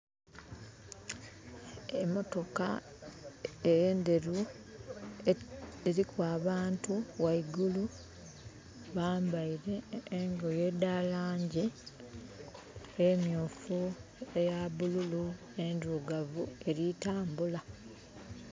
Emotoka enderu diriku abantu waigulu bambaire engoye edha langi emyufu, eya bululu, endirugavu eri tambula.